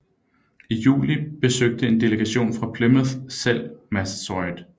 I juli besøgte en delegation fra Plymouth selv Massasoit